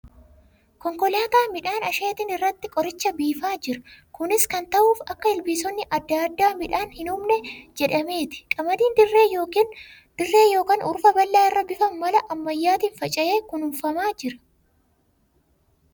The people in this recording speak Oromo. Konkolaataa midhaan hin ashheetin irratti qoricha biifaa jira. Kunis kan ta'uuf akka ilbiisonni adda addaa midhaan hin hubne jedhameeti. Qamadiin dirree yookan hurufa bal'aa irra bifa mala ammayyaatiin faca'ee kunuunfamaa jira.